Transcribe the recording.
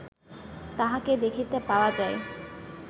তাঁহাকে দেখিতে পাওয়া যায়